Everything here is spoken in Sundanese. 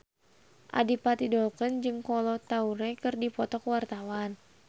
Adipati Dolken jeung Kolo Taure keur dipoto ku wartawan